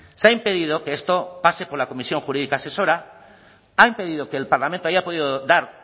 se ha impedido que esto pase por la comisión jurídica asesora ha impedido que el parlamento haya podido dar